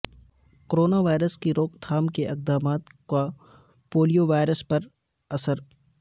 corona virus کی روک تھام کے اقدمات کا پولیو وائرس پر اثر